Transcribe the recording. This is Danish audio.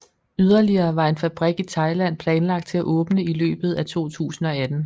Yderligere var en fabrik i Thailand planlagt til at åbne i løbet af 2018